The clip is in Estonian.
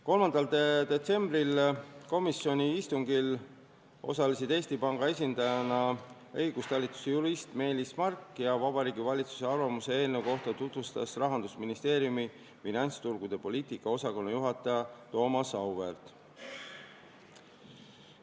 3. detsembri komisjoni istungil osales Eesti Panga esindajana õigustalituse jurist Meelis Mark ja Vabariigi Valitsuse arvamust eelnõu kohta tutvustas Rahandusministeeriumi finantsturgude poliitika osakonna juhataja Thomas Auväärt.